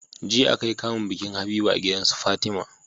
jiya akayi kamun bikin habiba a gidansu fatima